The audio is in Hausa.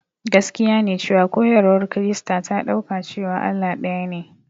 Gaskiya ne cewa koyarwar Kirista ta ɗauka cewa Allah ɗayane.